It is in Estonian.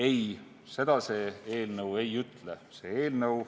Ei, seda see eelnõu ei ütle.